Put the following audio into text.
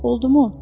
Oldumu?